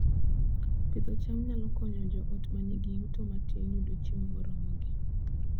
Pidho cham nyalo konyo joot ma nigi yuto matin yudo chiemo moromogi